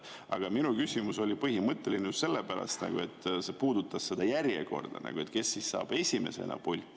Aga minu küsimus oli põhimõtteline just selle pärast, et see puudutas seda järjekorda, kes saab esimesena pulti.